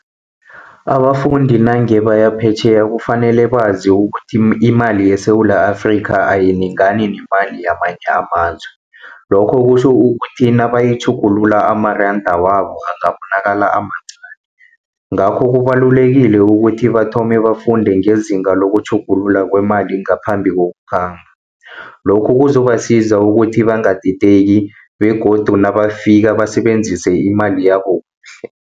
Abafundi nange baya phetjheya kufanele bazi ukuthi, imali yeSewula Afrika, ayilingani nemali yamanye amazwe. Lokho kutjho ukuthi, nabayitjhugulula amaranda wabo angabonakala amancani. Ngakho kubalulekile ukuthi bathome bafunde ngezinga lokutjhugulula kwemali ngaphambi kokukhamba. Lokhu kuzobasiza ukuthi bangadideki begodu nabafika basebenzise imali yabo kuhle.